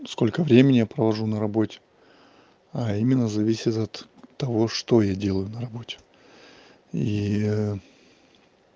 сколько времени я провожу на работе именно зависит от того что я делаю на работе и